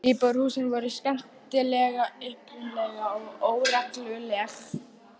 Íbúðarhúsin voru skemmtilega upprunaleg og óregluleg.